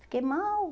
Fiquei mal.